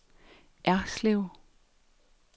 Erslev